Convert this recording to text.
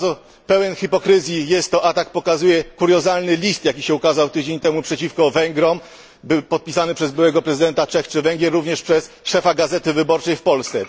Jak bardzo pełen hipokryzji jest to atak, pokazuje kuriozalny list, jaki się ukazał tydzień temu przeciwko Węgrom, podpisany przez byłego prezydenta Czech czy Węgier, a także przez szefa Gazety Wyborczej w Polsce.